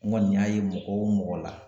N kɔni y'a ye mɔgɔ o mɔgɔ la